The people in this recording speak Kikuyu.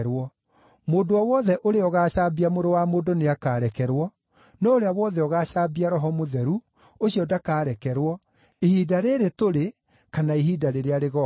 Mũndũ o wothe ũrĩa ũgacaambia Mũrũ wa Mũndũ nĩakarekerwo, no ũrĩa wothe ũgaacambia Roho Mũtheru, ũcio ndakaarekerwo, ihinda rĩrĩ tũrĩ kana ihinda rĩrĩa rĩgooka.